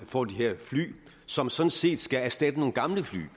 får de her fly som sådan set skal erstatte nogle gamle fly